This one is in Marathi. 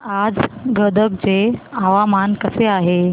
आज गदग चे हवामान कसे आहे